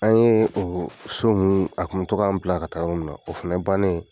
An ye o so mun a kun bɛ tɔ k'an bila ka taa yɔrɔ mun na o fana bannen